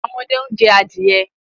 Àwọn ọmọde náà ń jẹ adìẹ.